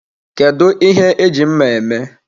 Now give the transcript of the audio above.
Kedu ihe eji mma eme?